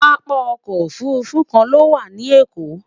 pápá ọkọ̀ òfurufú kàn ló wà nì Èkó